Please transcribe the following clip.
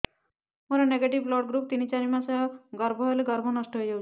ମୋର negative blood group ତିନ ଚାରି ମାସ ଗର୍ଭ ହେଲେ ଗର୍ଭ ନଷ୍ଟ ହେଇଯାଉଛି